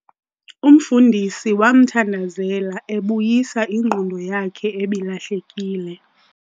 Umfundisi wamthandazela ebuyisa ingqondo yakhe ebilahlekile.